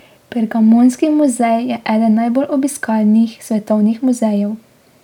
Pergamonski muzej je eden najbolj obiskanih svetovnih muzejev.